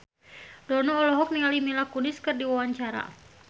Dono olohok ningali Mila Kunis keur diwawancara